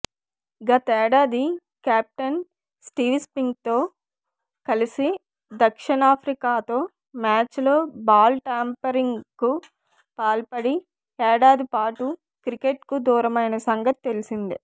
గతేడాది కెప్టెన్ స్టీవ్స్మిత్తో కలిసి దక్షణిఫ్రికాతో మ్యాచ్లో బాల్ టాంపరింగ్కు పాల్పడి ఏడాది పాటు క్రికెట్కు దూరమైన సంగతి తెలిసిందే